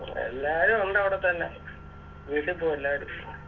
എല്ലാരു ഒണ്ടവിടെത്തന്നെ വീട്ടി പോകും എല്ലാരും